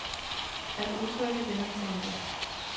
At udtrykke det man tænker.